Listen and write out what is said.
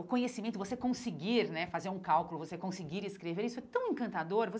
O conhecimento, você conseguir né fazer um cálculo, você conseguir escrever, isso é tão encantador